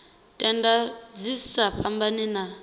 tenda dzi sa fhambani na